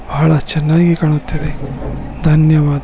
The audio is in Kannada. ಬಹಳ ಚೆನ್ನಾಗಿ ಕಾಣುತಿದೆ ಧನ್ಯವಾದ.